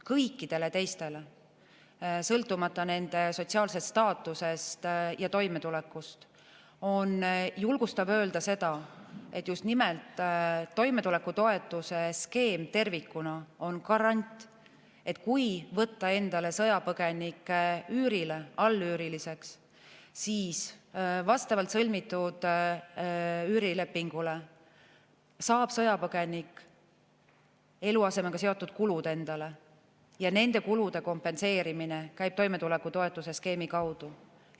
Kõikidele teistele sõltumata nende sotsiaalsest staatusest ja toimetulekust on julgustav öelda seda, et just nimelt toimetulekutoetuse skeem tervikuna on garant, et kui võtta endale sõjapõgenikke üürile, allüüriliseks, siis vastavalt sõlmitud üürilepingule saab sõjapõgenik eluasemega seotud kulud endale ja nende kulude kompenseerimine käib toimetulekutoetuse skeemi kaudu.